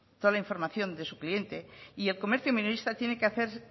toda la información de su cliente y el comercio minorista tiene que hacer